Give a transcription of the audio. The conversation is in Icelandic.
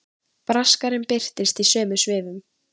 Braskarinn birtist í sömu svifum.